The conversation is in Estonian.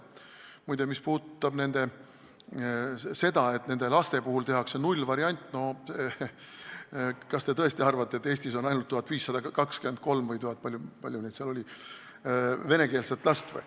Muide, mis puudutab seda, et nende laste puhul tehakse nullvariant, siis kas te tõesti arvate, et Eestis on ainult 1523 – või palju neid seal oli – venekeelset last?